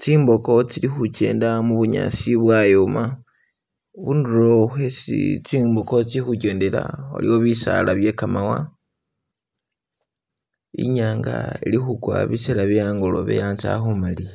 tsimbogo tsili kugenda mubunyaasi bwayoma. khunduro kwesi tsimbogo tsili khogendela kulokho bisaala bye ga mawa inyanga ilikhugwa bisela byehangolobe hatse halikumaliya